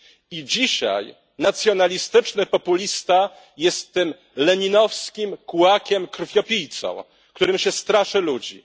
I dzisiaj nacjonalistyczny populista jest tym leninowskim kułakiem, krwiopijcą, którym się straszy ludzi.